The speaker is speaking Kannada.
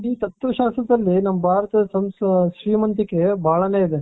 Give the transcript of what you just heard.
ಈ ತತ್ವ ಶಾಸ್ತ್ರದಲ್ಲಿ ನಮ್ಮ ಭಾರತದ ಶ್ರೀಮಂತಿಕೆ ಬಹಳನೇ ಇದೆ